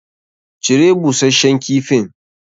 Cire busashshen kifin!